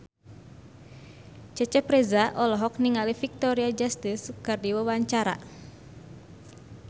Cecep Reza olohok ningali Victoria Justice keur diwawancara